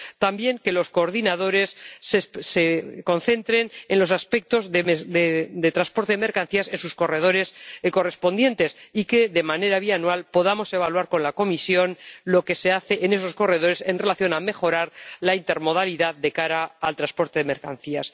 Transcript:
También, que los coordinadores se concentren en los aspectos de transporte de mercancías en sus corredores correspondientes, y que de manera bianual podamos evaluar con la Comisión lo que se hace en esos corredores en relación con la mejora de la intermodalidad en el ámbito del transporte de mercancías.